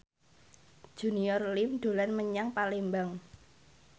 Junior Liem dolan menyang Palembang